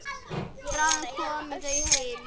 Bráðum koma þau heim.